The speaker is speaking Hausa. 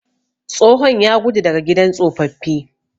Tsohon ya gudu daga gidan tsofaffi.